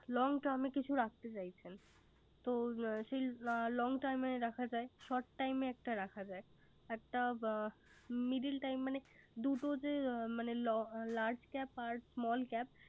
Long time কিছু রাখতে চাইছেন। তো সে long time রাখা যায়। short time একটা রাখা যায়। একটা middle time মানে দুটো যে মানে large cap আর small cap